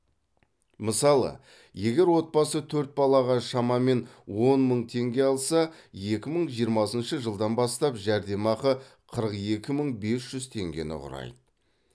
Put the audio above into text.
мысалы егер отбасы төрт балаға шамамен он мың теңге алса екі мың жиырмасыншы жылдан бастап жәрдемақы қырық екі мың бес жүз теңгені құрайды